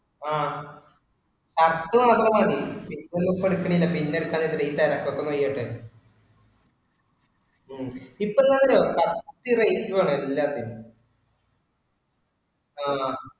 ആഹ് കത്ത് മാത്രം മതി. ഇപ്പൊ ലൂപ്പ് എടുക്കണില്ല. പിന്നെ എടുത്താ മതി. ഈ തിരക്ക് ഒക്കെ കഴിയട്ടെ. ഉം ഇപ്പൊ എന്താന്നറിയുവോ കത്തി rate ഉവാണ് എല്ലാത്തിനും ആഹ്